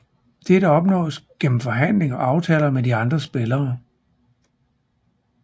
Dette opnås gennem forhandling og aftaler med de andre spillere